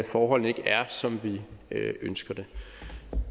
forholdene ikke er som vi ønsker det